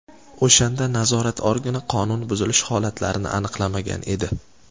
O‘shanda nazorat organi qonun buzilish holatlarini aniqlamagan edi.